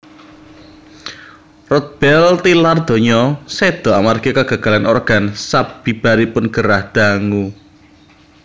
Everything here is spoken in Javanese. Rodbell tilar donya séda amargi kegagalan organ sabibaripun gerah dangu